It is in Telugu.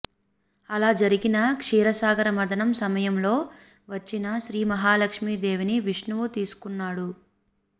అలా జరిగిన క్షీర సాగర మధనం సమయం లో వచ్చిన శ్రీ మహాలక్ష్మీ దేవిని విష్ణువు తీసుకున్నాడు